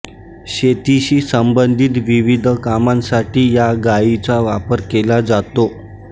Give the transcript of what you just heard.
शेतीशी संबंधित विविध कामांसाठी या गायीचा वापर केला जातो